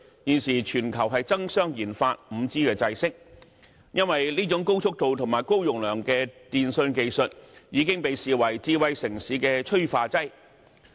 現時全球爭相研發 5G 制式，因為這種高速度及高容量的電訊技術已經被視為智慧城市的催化劑。